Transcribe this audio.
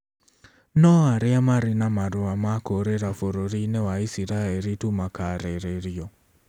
No arĩa marĩ na marũa ma kũũrĩra bũrũri-inĩ wa Isiraeli tu makaarĩrĩrio.